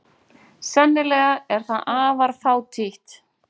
Sennilega er það afar fátítt.